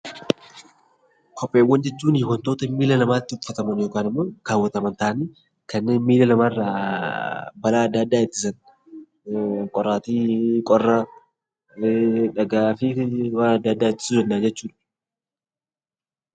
Kopheewwan jechuun wantoota miila namaatti uffataman yookaan immoo kaawwataman, kanneen miilla namaarraa balaa adda addaa ittisan qoraattii, qorra, dhagaa fi waan adda addaa ittisuu jenna jechuudha.